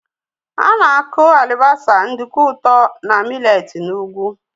Á na-aku alibasa, nduku ụtọ na mị́letí n'ugwu